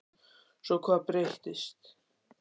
Svo hvað breyttist?